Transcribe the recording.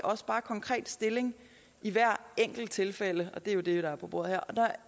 konkret stilling i hver enkelt tilfælde og det er jo det der er på bordet her